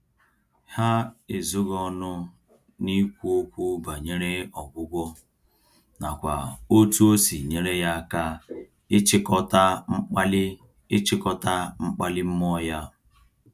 Ha ezoghị ọnụ n'ikwu okwu banyere ọgwụgwọ, nakwa otú osi nyere ya aka ịchịkọta mkpali ịchịkọta mkpali mmụọ ya.